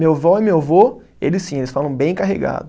Meu vó e meu vô, eles sim, eles falam bem carregado.